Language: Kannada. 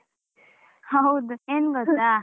ಹೌದು, ಏನ್ ಗೊತ್ತಾ?